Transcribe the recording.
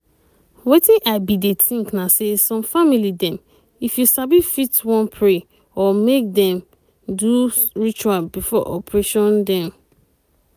wetin i bin dey think na say some family dem if you sabi fit wan pray or make dem do ritual before operation dem.